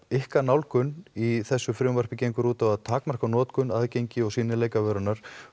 ykkar nálgun í þessu frumvarpi gengur út á að takmarka notkun aðgengi og sýnileika vörunnar